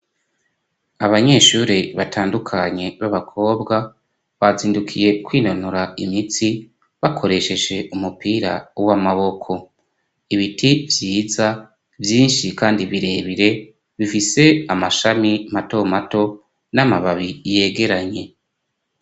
Abanyeshuri batandukanye b'abakobwa batindukiye kwinonora imitsi bakoresheje umupira w'amaboko ibiti vyiza vyinshi kandi bire bire bifise amashami mato mato n'amababi yegeranye.